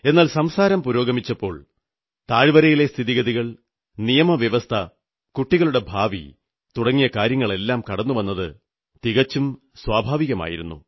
എന്നാൽ സംസാരം പുരോഗമിച്ചപ്പോൾ താഴ്വരയിലെ സ്ഥിതിഗതികൾ നിയമ വ്യവസ്ഥ കുട്ടികളുടെ ഭാവി തുടങ്ങിയ കാര്യങ്ങളെല്ലാം കടന്നുവന്നത് തികച്ചും സ്വാഭാവികമായിരുന്നു